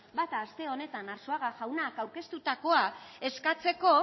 bata aste honetan arzuaga jaunak aurkeztutakoa eskatzeko